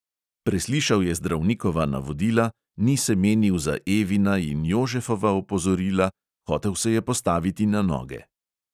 Preslišal je zdravnikova navodila, ni se menil za evina in jožefova opozorila, hotel se je postaviti na noge.